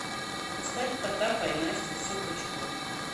поставь потапа и настю все пучком